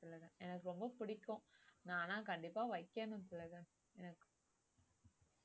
எனக்கு ரொம்ப பிடிக்கும் நான் ஆனா கண்டிப்பா வைக்கணும் திலகன்